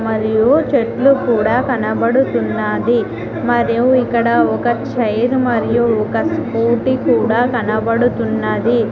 మరియు చెట్లు కూడా కనబడుతున్నది మరియు ఇక్కడ ఒక చైర్ మరియు ఒక స్కూటీ కూడా కనబడుతున్నది.